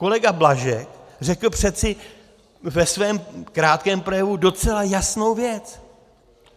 Kolega Blažek řekl přeci ve svém krátkém projevu docela jasnou věc.